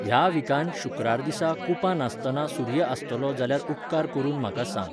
ह्या विकांत शु्क्रार दिसा कुपां नासतना सूर्य आसतलो जाल्यार उपकार करून म्हाका सांग